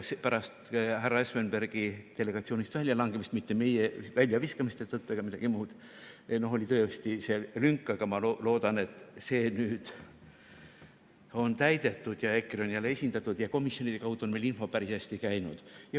Pärast härra Espenbergi delegatsioonist väljalangemist, mitte meie väljaviskamise tõttu ega midagi muud, oli tõesti seal lünk, aga ma loodan, et see nüüd on täidetud, EKRE on jälle esindatud, ja komisjonide kaudu on meil info päris hästi käinud.